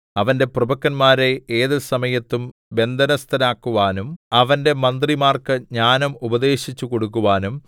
അവന്റെ പ്രഭുക്കന്മാരെ ഏതുസമയത്തും ബന്ധനസ്ഥരാക്കുവാനും അവന്റെ മന്ത്രിമാർക്ക് ജ്ഞാനം ഉപദേശിച്ചുകൊടുക്കുവാനും